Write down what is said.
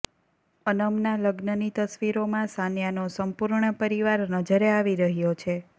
અનમના લગ્નની તસવીરોમાં સાનિયાનો સંપૂર્ણ પરિવાર નજરે આવી રહ્યો છે